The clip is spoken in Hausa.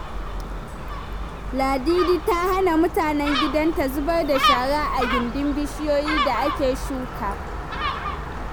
Ladidi ta hana mutanen gidanta zubar da shara a gindin bishiyoyi da ake shuka.